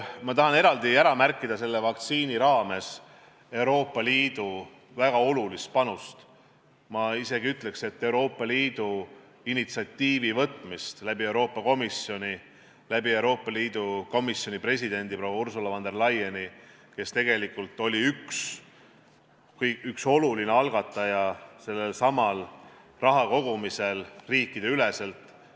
Ma tahan eraldi ära märkida selle vaktsiini raames Euroopa Liidu väga olulist panust, ma isegi ütleks, et Euroopa Liit võttis initsiatiivi, tehes seda Euroopa Komisjoni ja Euroopa Komisjoni presidendi proua Ursula von der Leyeni kaudu, kes tegelikult oli üks sellesama riikideülese rahakogumise olulisi algatajaid.